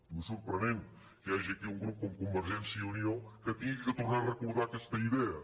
diu és sorprenent que hi hagi aquí un grup com convergència i unió que hagi de tornar a re·cordar aquesta idea